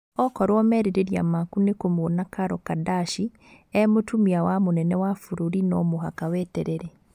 Okorwo merirĩria maku nĩ kũmũona Karol Kadashi e mũtumia wa mũnene wa bũrũri no mũhaka weterere.